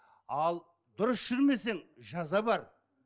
ал дұрыс жүрмесең жаза бар